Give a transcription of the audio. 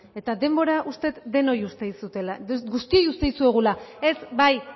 eta denbora uste dut denoi uzten dizuetela orduan guztioi uzten dizuegula ez bai